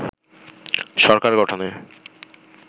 সরকার গঠনে